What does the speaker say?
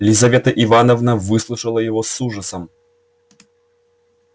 лизавета ивановна выслушала его с ужасом